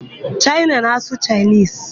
China na-asụ Chinese.